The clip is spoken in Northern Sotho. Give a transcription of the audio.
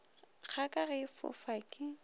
kgaka ge e fofa ke